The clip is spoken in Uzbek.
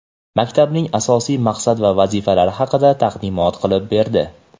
maktabning asosiy maqsad va vazifalari haqida taqdimot qilib berdi.